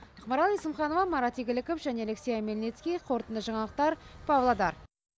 ақмарал есімханова марат игіліков және алексей омельницкий қоорытынды жаңалықтар павлодар